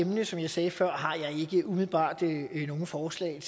emne som jeg sagde før har jeg ikke umiddelbart nogle forslag